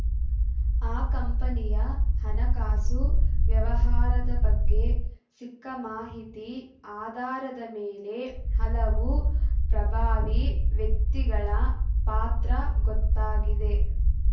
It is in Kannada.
ಆ ಕಂಪನಿಯ ಹಣಕಾಸು ವ್ಯವಹಾರದ ಬಗ್ಗೆ ಸಿಕ್ಕ ಮಾಹಿತಿ ಆಧಾರದ ಮೇಲೆ ಹಲವು ಪ್ರಭಾವಿ ವ್ಯಕ್ತಿಗಳ ಪಾತ್ರ ಗೊತ್ತಾಗಿದೆ